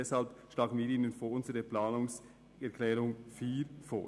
Deshalb schlagen wir Ihnen unsere Planungserklärung 4 vor.